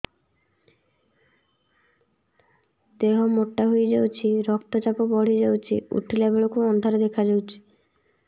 ଦେହ ମୋଟା ହେଇଯାଉଛି ରକ୍ତ ଚାପ ବଢ଼ି ଯାଉଛି ଉଠିଲା ବେଳକୁ ଅନ୍ଧାର ଦେଖା ଯାଉଛି